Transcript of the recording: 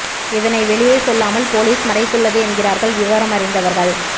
இதனை வெளியே சொல்லாமல் போலீஸ் மறைத்துள்ளது என்கிறார்கள் விவரம் அறிந்தவர்கள்